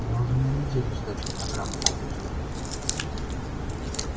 я уже на неделю сдачу программы задерживаю